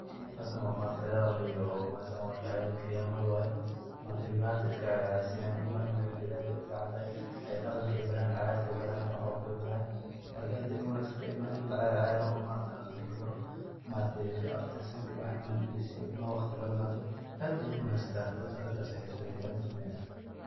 Halkan maaragte san arkayo waa ciyal iyo cidaha Giriyamada waye ,cilmaha ayey iska ciyarsinayan ,Cilmaha ini lala dhelo aad ayey u fican tahay ,daqanka ay barayan, ciyarta ay barayan , ,marka aad bey u wanag santahay cilmaha ini lala ciyaro oo daqanka labaro , marka abtirsigoda iyo waxas ini labaro aad ayey u wanagsantahay arintas ayey hada sumeynayan.